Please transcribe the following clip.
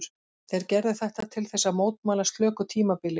Þeir gerðu þetta til þess að mótmæla slöku tímabili.